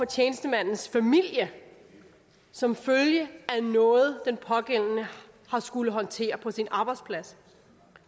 tjenestemands familie som følge af noget den pågældende har skullet håndtere på sin arbejdsplads